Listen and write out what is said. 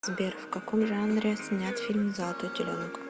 сбер в каком жанре снят фильм золотои теленок